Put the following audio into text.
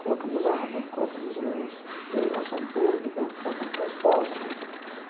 Colocamos água, colocamos luz, iluminação pública, colocamos transporte.